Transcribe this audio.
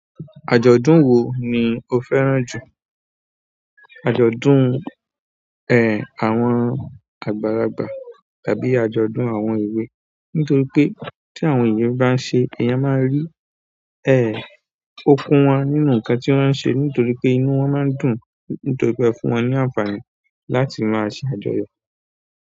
Àjọ̀dún wo ni o fẹ́ràn jù? Àjọ̀dún, ẹ, àwọn àgbàlagbà tàbí àjọ̀dún àwọn èwe? Nítorí pé tí àwọn ènìyàn bá ń ṣe, èèyàn máa rí, ẹ, okun wọn nínú nǹkan tí wọ́n ń ṣe nítorí pé inú wọn máa ń dùn nítorí pé ó fún wọn ní àǹfààní láti máa ṣe àjọyọ̀.